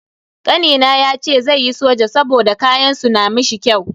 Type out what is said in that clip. Kanina yace zai yi soja saboda kayan su na mishi kyau.